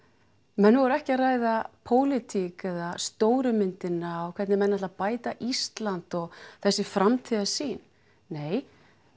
menn voru ekki að ræða eða stóru myndina eða hvernig menn ætla að bæta Ísland þessi framtíðarsýn nei